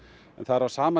en það er á sama